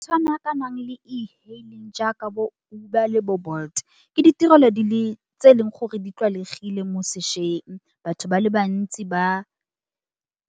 Tshwana ka nang le e-hailing jaaka bo Uber le bo Bolt. Ke ditirelo di le, tse e leng gore di tlwaelegile mosešweng. Batho ba le bantsi, ba